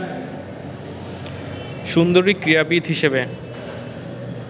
সুন্দরী ক্রীড়াবিদ হিসেবে